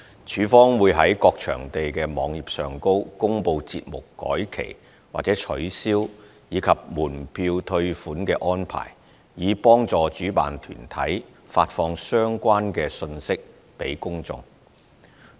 署方會在各場地的網頁上公布節目改期或取消，以及門票退款的安排，以幫助主辦團體發放相關信息給公眾。